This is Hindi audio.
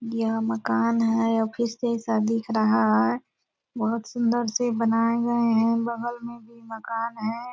यह मकान है ऑफिस जैसा दिख रहा है बहुत सुंदर से बनाए गए है बगल में भी मकान है।